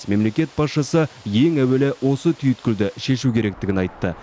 мемлекет басшысы ең әуелі осы түйткілді шешу керектігін айтты